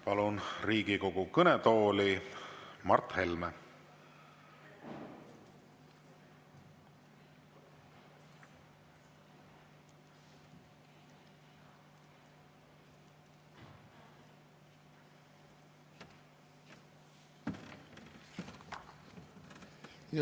Palun Riigikogu kõnetooli Mart Helme!